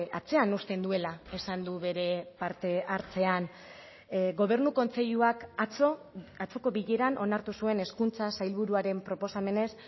atzean uzten duela esan du bere parte hartzean gobernu kontseiluak atzo atzoko bileran onartu zuen hezkuntza sailburuaren proposamenez